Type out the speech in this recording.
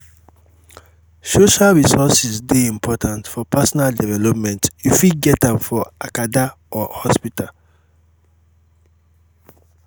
social resources de important for personal development you fit get am for acada or hospital